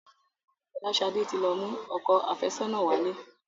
Folashade tí lọ mú òkò afesona wálé